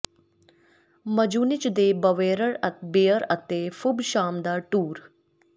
Munich ਦੇ Bavarian beer ਅਤੇ food ਸ਼ਾਮ ਦਾ ਟੂਰ